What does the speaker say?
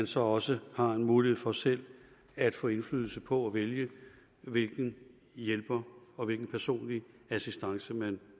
så også har en mulighed for selv at få indflydelse på at vælge hvilken hjælper og hvilken personlig assistance man